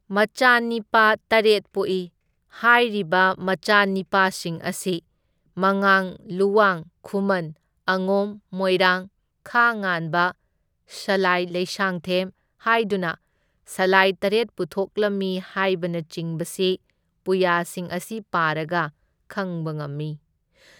ꯃꯆꯥꯅꯤꯄꯥ ꯇꯔꯦꯠ ꯄꯣꯛꯏ, ꯍꯥꯏꯔꯤꯕ ꯃꯆꯥꯅꯤꯄꯥꯁꯤꯡ ꯑꯁꯤ ꯃꯉꯥꯡ, ꯂꯨꯋꯥꯡ, ꯈꯨꯃꯟ, ꯑꯉꯣꯝ, ꯃꯣꯏꯔꯥꯡ, ꯈꯥ ꯉꯥꯟꯕ, ꯁꯂꯥꯏ ꯂꯩꯁꯥꯡꯊꯦꯝ ꯍꯥꯏꯗꯨꯅ ꯁꯂꯥꯏ ꯇꯔꯦꯠ ꯄꯨꯊꯣꯛꯂꯝꯃꯤ ꯍꯥꯏꯕꯅꯆꯤꯡꯕꯁꯤ ꯄꯨꯌꯥꯁꯤꯡ ꯑꯁꯤ ꯄꯥꯔꯒ ꯈꯪꯕ ꯉꯝꯃꯤ꯫